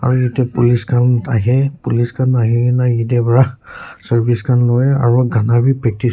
aru ite police khan ahey police khan ahigena yeteh wra service khan loi aru gana wii practice --